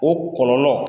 O kɔlɔlɔ